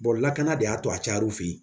lakana de y'a to a cayara u fe ye